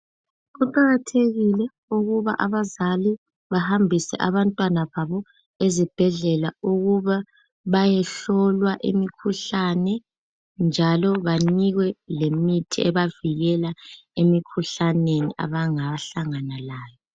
Kuqakathekile ukuba abazali bahambise abantwana babo ezibhedlela ukuba bayehlolwa imikhuhlane njalo banikwe lemithi ebavikela emikhuhlaneni abanga hlangana layo.